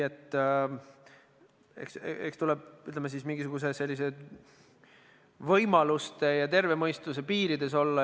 Eks tuleb, ütleme, võimaluste ja terve mõistuse piiridesse jääda.